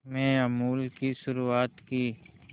में अमूल की शुरुआत की